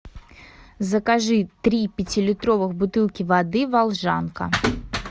закажи три пятилитровых бутылки воды волжанка